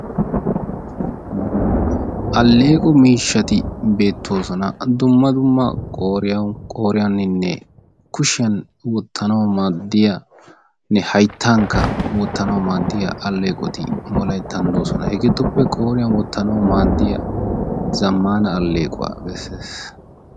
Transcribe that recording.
aleeqo mishshati beetoosona. dumma dumma qooriyan qooriyaninne kushiyan wotanawu maadiya hayttankka wotanawu maadiya alleeqqoti wolayttan doosona. hegeetuppe ooriyan wotanawu maadiya zamaana aleequwa besees.